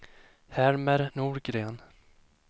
Helmer Norgren